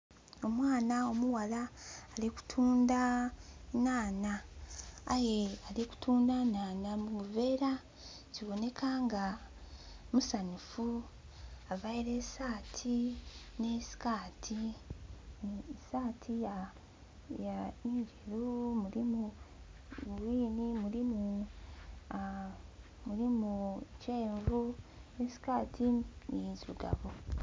Omwana omughala ali kutundha nhanha aye ali kutundha nhanha mu buvera. Kiboneka nga musanhufu, aveire esati ni sikati, sati ndheru erimu green, erimu kyenvu ni sikati ndhirugavu.